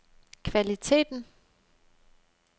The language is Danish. kvaliteten